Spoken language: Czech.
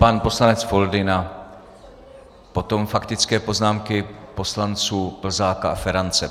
Pan poslanec Foldyna, potom faktické poznámky poslanců Plzáka a Ferance.